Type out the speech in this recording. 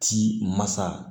Ti masa